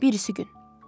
Birisi gün.